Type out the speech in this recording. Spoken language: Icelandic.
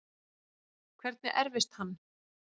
Hvernig erfist hann?